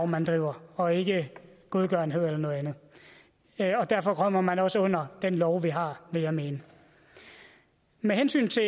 man driver og ikke godgørenhed eller noget andet derfor kommer man også ind under den lov vi har vil jeg mene med hensyn til